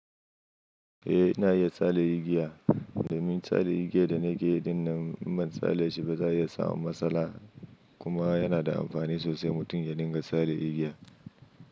Eh ina iya tsale igiya domin tsalle igiya da nake yi dinnan, in ban tsalle shi ba za iya samu matsala. Kuma yana da amfani sosai mutum ya dinga tsalle igiya.